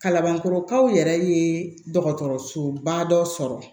Kalanbankɔrɔkaw yɛrɛ ye dɔgɔtɔrɔsoba dɔ sɔrɔ